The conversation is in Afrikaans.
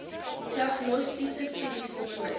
diagnostiese studies voltooi